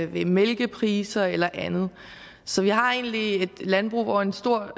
ved mælkepriser eller andet så vi har egentlig et landbrug hvor en stor